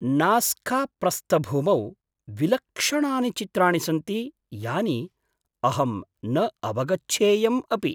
नाज़्काप्रस्थभूमौ विलक्षणानि चित्राणि सन्ति यानि अहम् न अवगच्छेयम् अपि!